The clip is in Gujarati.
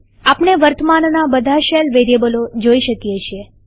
આપણે વર્તમાનના બધા શેલ વેરીએબલો જોઈ શકીએ છીએ